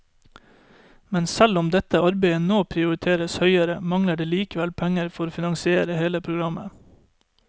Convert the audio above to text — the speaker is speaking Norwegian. Men selv om dette arbeidet nå prioriteres høyere, mangler det likevel penger for å finansiere hele programmet.